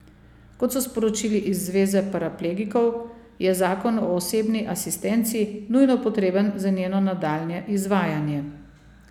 Kot so sporočili iz Zveze paraplegikov, je zakon o osebni asistenci nujno potreben za njeno nadaljnje izvajanje.